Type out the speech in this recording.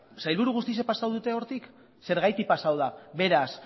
sailburu guztiak pasa dute hortik zergatik pasatu da beraz